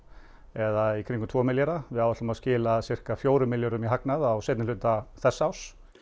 eða í kringum tveggja milljarða við áætlum að skila sirka fjórum milljörðum í hagnað á seinni hluta þessa árs